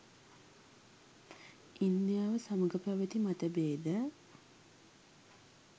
ඉන්දියාව සමග පැවැති මතභේද